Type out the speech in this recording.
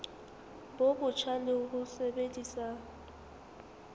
bo botjha le ho sebedisa